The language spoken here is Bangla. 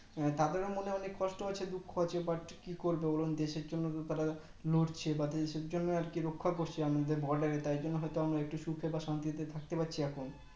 তাদের ও মনে অনেক কষ্ট হচ্ছে দুঃখ হচ্ছে But কি করবে বলুন দেশের জন্য তো তার লড়ছে বা দেশের জন্য আর কি রক্ষা করছে আমাদের Border এ তাই জন্য হয় তো আমার একটু সুখে বা শান্তিতে থাকতে পাচ্ছি পারছি এখন